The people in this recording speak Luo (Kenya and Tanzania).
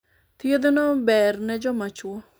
thieth no ber ne joma chuo